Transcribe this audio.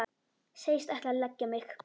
Segist ætla að leggja mig.